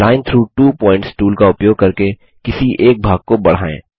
line through two points tool का उपयोग करके किसी एक भाग को बढ़ाएँ